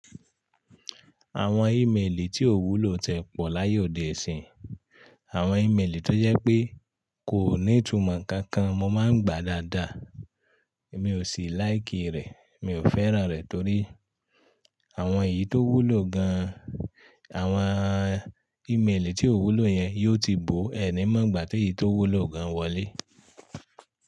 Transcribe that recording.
Àwọn ímeèlì tí ò wúlò tie pọ̀ láyé òde ọ̀ní. Àwọn ímeèlì tó jẹ́ pé kò ní ìtumò kankan mo máa ń gbà dáadáa. Mi ò sì láìkì rẹ̀, mi ò fẹ́ràn rẹ̀ torí àwọn èyí tó wúlò gan, àwọn ímeèlì tí ò wúlò yẹn yó ti bò ẹni mọ́ gbà tí èyí tó wúlò gan wọlé.